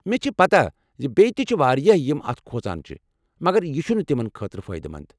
مےٚ چھ پتہ ز بیٚیہ تہ چھ واریاہ یم اتھ کھوژان چھ، مگر یہ چھنہٕ تمن کانٛہہ فٲئدٕ منٛد ۔